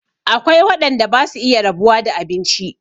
Akwai waɗanda basu iya rabuwa da abinci